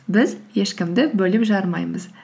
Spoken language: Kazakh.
біз ешкімді бөліп жармаймыз